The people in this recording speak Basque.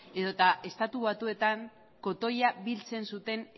edota estatu batuetan kotoia biltzen zuten